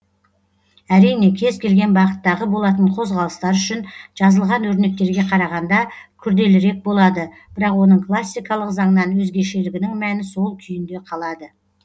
әрине кез келген бағыттағы болатын қозғалыстар үшін жазылған өрнектерге қарағанда күрделірек болады бірақ оның классикалық заңнан өзгешелігінің мәні сол күйінде қалады